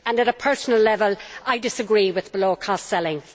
On a personal level, I disagree with below cost selling.